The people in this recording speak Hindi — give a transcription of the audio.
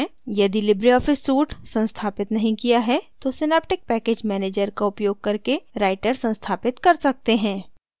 यदि लिबरे ऑफिस suite संस्थापित नहीं किया है तो synaptic package manager का उपयोग करके writer संस्थापित कर सकते हैं